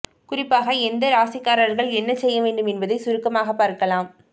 குறிப்பாக எந்த ராசிக்காரர்கள் என்ன செய்ய வேண்டும் என்பதை சுருக்கமாக பார்க்கலாம்